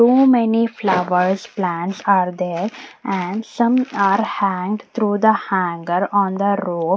so many flowers plants are there and some are hanged through the hanger on the rope.